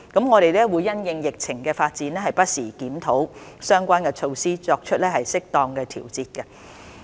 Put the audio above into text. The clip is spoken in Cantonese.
我們會因應疫情的發展，不時檢討相關措施，以作出適當調節。